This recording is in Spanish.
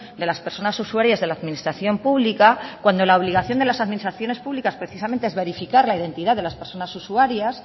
de las personas usuarias de la administración pública cuando la obligación de las administraciones públicas precisamente es verificar la identidad de las personas usuarias